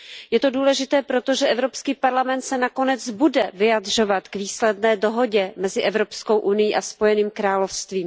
Je to důležité, protože EP se nakonec bude vyjadřovat k výsledné dohodě mezi Evropskou unií a Spojeným královstvím.